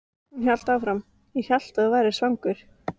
Hún hélt áfram: Ég hélt að þú værir svangur.